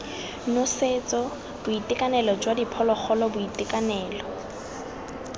nosetso boitekanelo jwa diphologolo boitekanelo